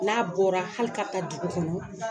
N'a bɔra ka ta dugu kɔnɔ